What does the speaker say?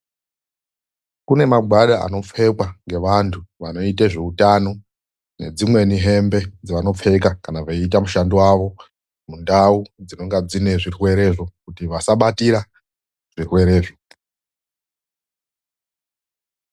Kune magwada anopfekwa ngevanthu vanoita zveutano. Nedzimweni hembe dzevanopfeka kana veiita mushando wavo mundau dzinonga dzine zvirwerezvo kuti vasabatira zvirwerezvo.